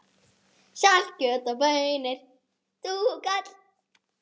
Um það veit Grímur ekkert.